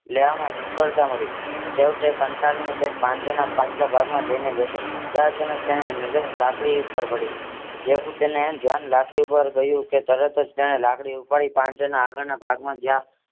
લેવામાં નિષ્ફળતા મળી છેવટે કંટાળીને તે પાંજરાના પાછળ ભાગ માં જઈને બેઠો ત્યાં અચાનક તેની નજર લાકડી ઉપર પડી જેવું તેનું ધ્યાન લાકડી ઉપર ગયું કે તરત જ તેને લાકડી ઉપાડી પાંજરાના આગળના ભાગમાં જ્યાં